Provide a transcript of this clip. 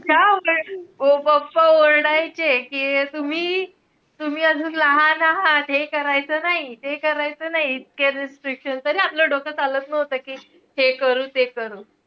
मग pappa ओरडायचे कि तुम्ही~ तुम्ही अजून लहान आहात हे करायचं नाई ते करायचं नाई. इतकं restrictions. तरी आपलं डोकं चालत नव्हतं कि हे करू ते करू.